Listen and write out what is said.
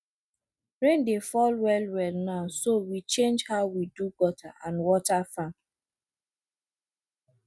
rain dey fall well well now so we change how we do gutter and water farm